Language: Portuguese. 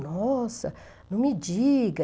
Nossa, não me diga.